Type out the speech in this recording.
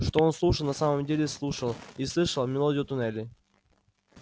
что он слушал на самом деле слушал и слышал мелодию туннелей